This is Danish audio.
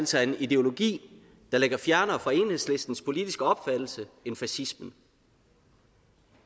sig en ideologi der ligger fjernere fra enhedslistens politiske opfattelse end fascismen